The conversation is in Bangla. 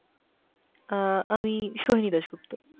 অ্যাঁ আমি সোহিনী দাসগুপ্ত।